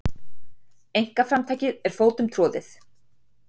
Einkaframtakið var fótum troðið.